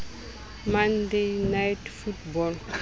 monday night football